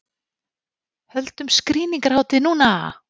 Höldum skrýningarhátíð núna!